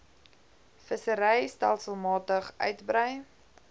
vissery stelselmatig uitbrei